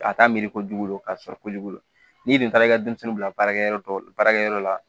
A t'a miiri kojugu k'a sɔrɔ kojugu n'i dun taara i ka denmisɛnninw bila baarakɛyɔrɔ la baarakɛyɔrɔ la